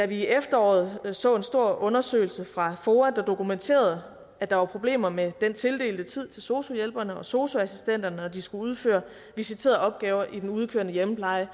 i efteråret så en stor undersøgelser fra foa der dokumenterede at der var problemer med den tildelte tid til sosu hjælperne og sosu assistenterne når de skulle udføre visiterede opgaver i den udkørende hjemmepleje